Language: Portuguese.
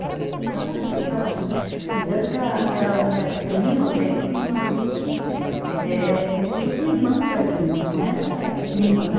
Aham. Então a gente ficava muito, é tanto que a minha, minhas primas, eu tenho uma prima viva que é como se fosse irmã para mim, não é prima, né?